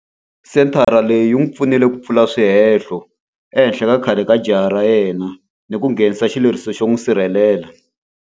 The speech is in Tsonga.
Senthara leyi yi n'wi pfunile ku pfula swihehlo ehenhla ka khale ka jaha ra yena ni ku nghenisa xileriso xo n'wi sirhelela.